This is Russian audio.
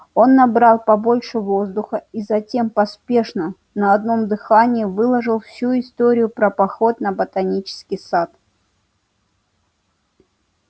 он набрал побольше воздуха и затем поспешно на одном дыхании выложил всю историю про поход на ботанический сад